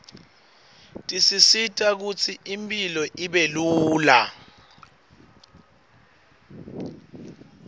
tisisita kutsi impilo ibelula